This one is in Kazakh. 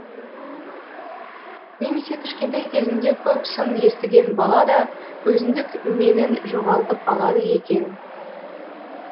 немесе кішкентай кезінде көп сын естіген бала да өзіндік менін жоғалтып алады екен